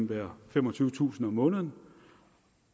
være femogtyvetusind kroner om måneden